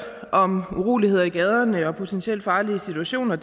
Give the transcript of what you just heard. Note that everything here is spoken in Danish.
om uroligheder i gaderne og potentielt farlige situationer